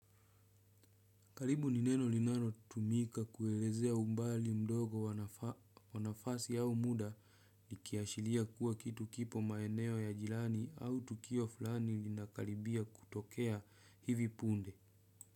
Karibu ni neno linalo tumika kuelezea umbali mdogo wa nafasi au muda likiashiria kuwa kitu kipo maeneo ya jirani au tukio fulani lina karibia kutokea hivi punde.